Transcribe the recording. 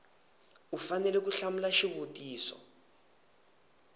u fanele ku hlamula xivutiso